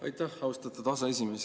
Aitäh, austatud aseesimees!